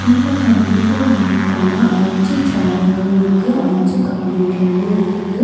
இந்த கம்ப்யூட்டர் லேப்குள்ள அஞ்சு சேருங்களும் இருக்கு அஞ்சு கம்ப்யூட்ருங்களும் இருக்கு.